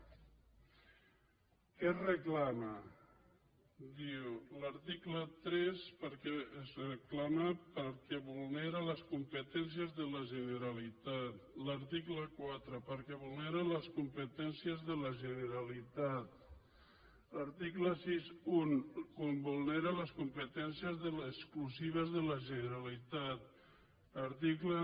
què es reclama diu l’article tres es reclama perquè vulnera les competències de la generalitat l’article quatre perquè vulnera les competències de la generalitat l’article seixanta un vulnera les competències exclusives de la generalitat article